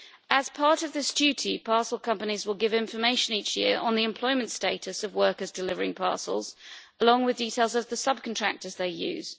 As part of this duty, parcel companies will give information each year on the employment status of workers delivering parcels, along with details of the sub contractors they use.